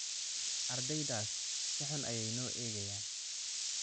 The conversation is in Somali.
Ardeydaas si xun ayey inoo eegaayan